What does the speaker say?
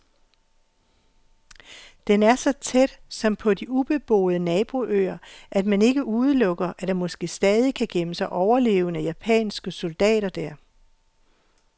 Den er så tæt, som på de ubeboede naboøer, at man ikke udelukker, at der måske stadig kan gemme sig overlevende japanske soldater der.